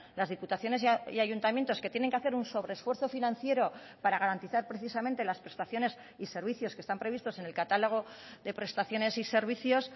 las diputaciones y ayuntamientos que tienen que hacer un sobre esfuerzo financiero para garantizar precisamente las prestaciones y servicios que están previstos en el catálogo de prestaciones y servicios